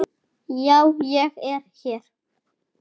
Já, ég er hér.